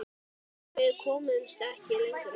Við komumst ekki lengra.